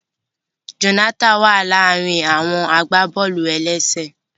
Jonathan wa ni àárín àwọn agbaboolu-elese.